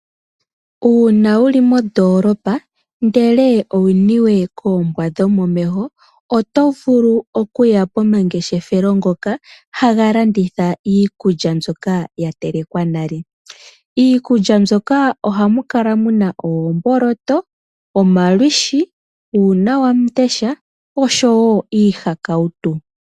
Uuna wuli mondoolopa ndele owuniwe koombwa dhomomeho oto, vulu okuya pomangeshefelo ngoka haga landitha iikulya mboka ya telekwa nale. Iikulya mbyoka ohamu kala muna oomboloto, omalwiishi, uunawamundesha oshowo iihakautu.